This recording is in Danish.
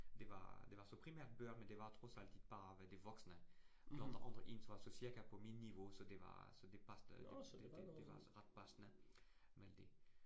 Det var det var så primært børn, men det var trods alt bare hvad det voksne. Andre andre ens var så cirka på min niveau, så det var så det passende. Det det det var altså ret passende med det